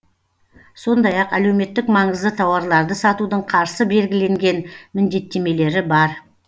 сондай ақ әлеуметтік маңызды тауарларды сатудың қарсы белгіленген міндеттемелері бар